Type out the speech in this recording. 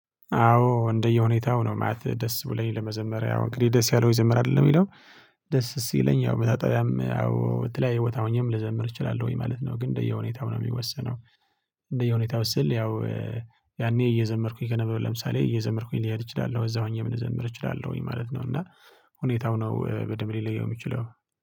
አዎ እንደየሁኔታው ነው ማለቴ ደስ ብለኝ ለመዘመር ያው እንግዲህ ደስ ያለው ይዘመራል አይደለም የሚለው ደስ ሲለኝ ያው መታጠቢያም ያው የተለያየ ቦታ ሆኜም ልዘምር እችላለሁኝ ማለት ነው። ግን እንደየሁኔታው ነው የሚወሰነው። እንደየሁኔታው ስል ያው ያኔ እየዘመርኩኝ ከነበር ለምሳሌ እየዘመርኩኝ ልሄድ ይችላለሁ እዛ ሆኜም ልዘመር እችላለሁኝ ማለት ነው። እና ሁኔታው ነው በደንብ ሊለየው የሚችለው